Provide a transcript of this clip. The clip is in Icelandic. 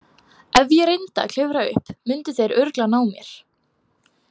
Ef ég reyndi að klifra upp myndu þeir örugglega ná mér.